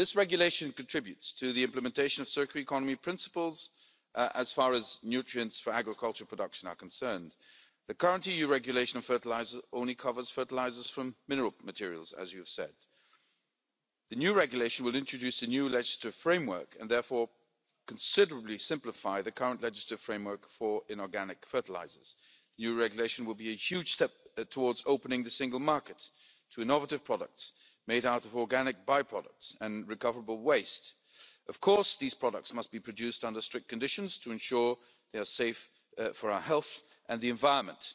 This regulation contributes to the implementation of circular economy principles as far as nutrients for agricultural production are concerned. The current EU regulation on fertiliser only covers fertilisers from mineral materials, as you have said. The new regulation will introduce a new legislative framework and therefore considerably simplify the current legislative framework for inorganic fertilisers. The new regulation will be a huge step towards opening the single market to innovative products, made out of organic by-products and recoverable waste. Of course these products must be produced under strict conditions to ensure they are safe for our health and the environment.